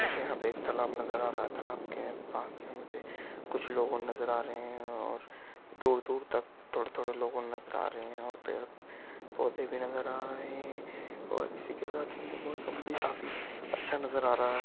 यहां पे एक तलाब नजर आ रहा है तलाब के पास में मुझे कुछ लोग और नजर आ रहे है और दूर-दूर तक थोड़े-थोड़े लोग और नजर आ रहे है और पड़े पौधे भी नजर आ रहे है और इसी के साथ मौसम भी काफी अच्छा नजर आ रहा है।